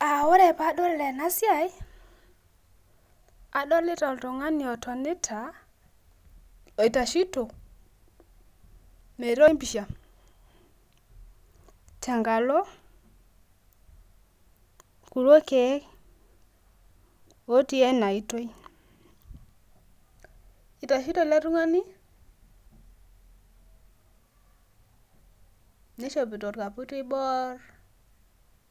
Ore padol ena siai adolita oltung'ani otonita otaishito metooshi pisha tenkalo kilo keek loti ena oito. Etashito ele tungani nishopito orkaputi oibor